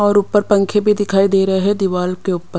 और ऊपर पंखे भी दिखाई दे रहे हैं दीवाल के ऊपर --